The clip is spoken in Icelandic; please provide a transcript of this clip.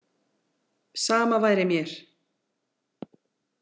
Sama væri mér.